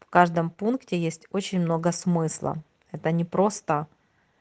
в каждом пункте есть очень много смысла это не просто